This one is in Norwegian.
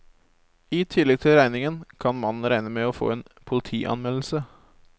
I tillegg til regningen kan mannen regne med å få en politianmeldelse.